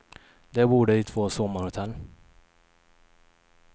Där bor de i två sommarhotell.